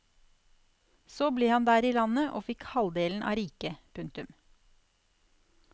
Så ble han der i landet og fikk halvdelen av riket. punktum